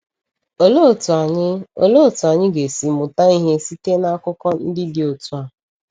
Olee otú anyị Olee otú anyị ga-esi mụta ihe site na akụkọ ndị dị otu a?